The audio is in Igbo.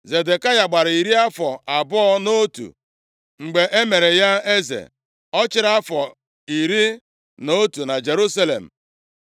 Zedekaya gbara iri afọ abụọ na otu mgbe e mere ya eze. Ọ chịrị afọ iri na otu na Jerusalem.